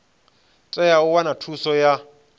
tea u wana thuso ya